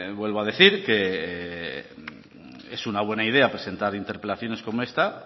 vuelvo a decir es una buena idea presentar interpelaciones como esta